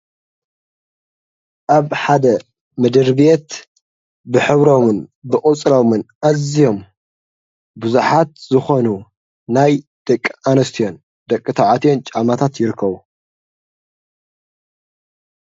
ኣብ ሓደ ምድርቤት ብኅብሮምን ብኡፅሎምን ኣዝዮም ብዙኃት ዝኾኑ ናይ ደቂ ኣነስትዮን ደቂ ተዓትዮን ጫማታት ይርከቡ።